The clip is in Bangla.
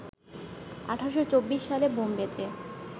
১৮২৪ সালে বোম্বেতে